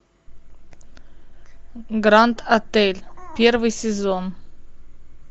гранд отель первый сезон